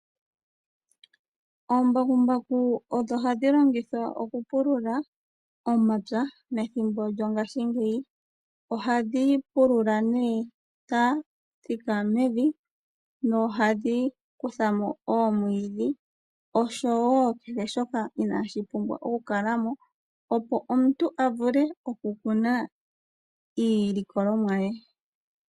Oombakumbaku odho hadhi longithwa okupulula omapya methimbo lyongashingeyi. Ohadhi pulula nduno dha thika mevi nohadhi kutha mo omwiidhi osho wo kehe shoka inaashi pumbwa oku kala mo opo omuntu avule okukuna iilikolomwa ye.